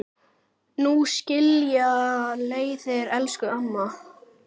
Nú skilja leiðir, elsku amma.